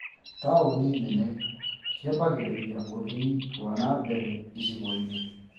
Taũni nene ciambagĩrĩria ũthii wa nambere icigo-inĩ